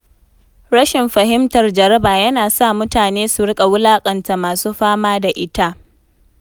Rashin fahimtar jaraba yana sa mutane su rika wulakanta masu fama da ita.